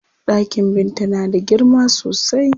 Ɗakin Binta na da girma sosai.